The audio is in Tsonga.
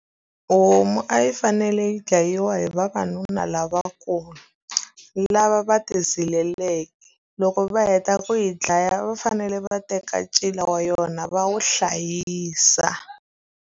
Homu a yi fanele yi dlayiwa hi vavanuna lavakulu, lava va ti zileleke. Loko va heta ku yi dlaya, a va fanele va teka ncila wa yona va wu hlayisa.